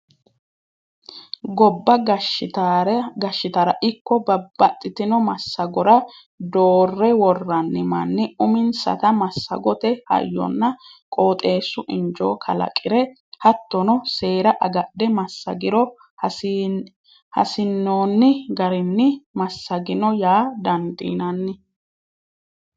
Gobba gashshittara ikko babbaxxitino massagora doore woranni manni uminsata massagote hayyonna qooxeesu injo kalaqire hattono seera agadhe massagiro hasiinoni garinni massagino yaa dandiinanni.